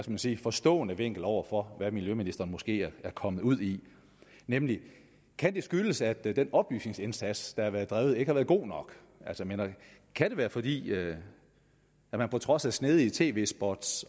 man sige forstående vinkel over for hvad miljøministeren måske er kommet ud i nemlig kan det skyldes at den oplysningsindsats der har været drevet ikke har været god nok kan det være fordi det på trods af snedige tv spot